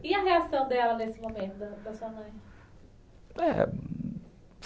E a reação dela nesse momento, da sua mãe? É...